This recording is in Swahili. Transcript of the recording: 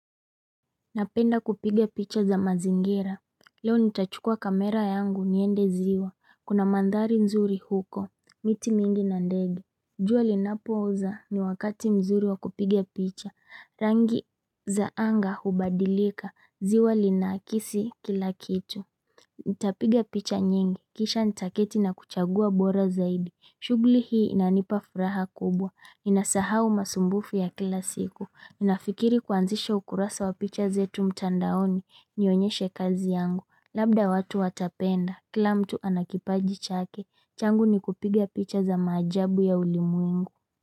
Napenda kupiga picha za mazingira, leo nitachukua kamera yangu niende ziwa, kuna mandhari nzuri huko, miti mingi na ndege jua linapooza ni wakati mzuri wa kupiga picha, rangi za anga hubadilika, ziwa linakisi kila kitu Nitapiga picha nyingi. Kisha nitaketi na kuchagua bora zaidi. Shugli hii inanipa furaha kubwa. Inasahau masumbufu ya kila siku. Ninafikiri kuanzisha ukurasa wa picha zetu mtandaoni. Nionyeshe kazi yangu. Labda watu watapenda. Kila mtu anakipaji chake. Changu ni kupiga picha za maajabu ya ulimwengu.